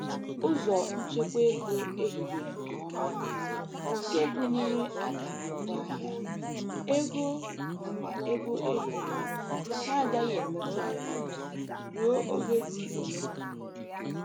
Ụzọ nchekwa ego ehibere nke ọma bụ nke gụnyere akara ngwaahịa, ego nakwa ego ehibere na-agaghị emetu aka ruo oge dị ole na ole.